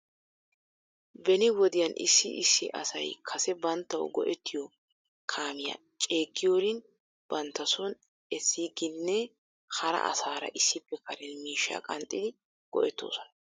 Beni wodiyan issi issi asay kase banttaw go'ettiyoo kaamiyaa ceeggiyoorin bantta son essiiginne hara asaara issippe karen miishshaa qanxxidi go'etoosona.